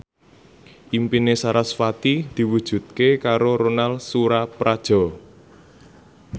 impine sarasvati diwujudke karo Ronal Surapradja